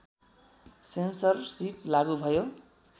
censorship लागू भयो